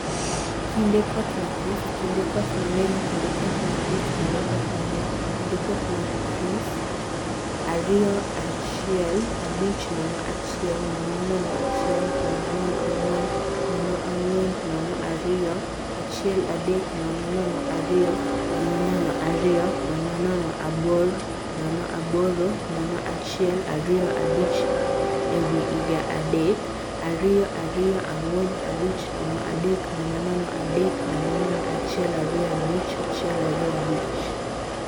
Kinde koth mathis, Kinde koth mangeny, kinde koth mathis, kinde koth mangeny, kinde koth mathis I ariyo ahiel achiel abich nono achiel nono nono achiel nono nono ang'wen nono angwen nono II ariyo achiel adek nono nono ariyo nono nono ariyo nono nono abor nono aboro nono achiel ariyo abich e wii iga adek. ariyo ariyo angwen abich nono adek nono nono adek nono nono achiel ariyo abich achiel ariyo abich.